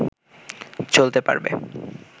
চলতে পারবে